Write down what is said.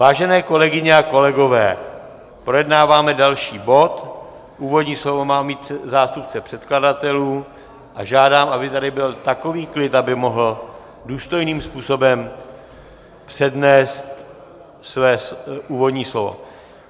Vážené kolegyně a kolegové, projednáváme další bod, úvodní slovo má mít zástupce předkladatelů a žádám, aby tady byl takový klid, aby mohl důstojným způsobem přednést své úvodní slovo.